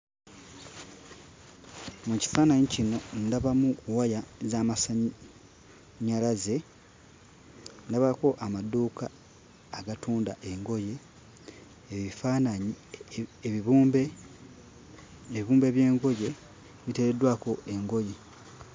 Mu kifaananyi kino ndabamu waya z'amasannyalaze, ndabako amaduuka agatunda engoye, ebifaananyi ebibumbe, ebibumbe by'engoye biteereddwako engoye